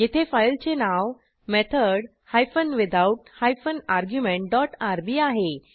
येथे फाईलचे नाव method hyphen without hyphen argument dot RB आहे